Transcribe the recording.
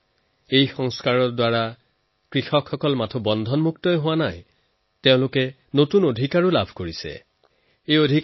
এই সংস্কাৰৰ জৰিয়তে কেৱল কৃষকৰ অনেক বন্ধন সমাপ্ত হৈছে বৰং তেওঁলোকে নতুন অধিকাৰো লাভ কৰিছে নতুন সুযোগো লাভ কৰিছে